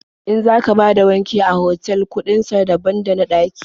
In za ka bada wanki a cikin otal kuɗin sa daban da na ɗaƙi.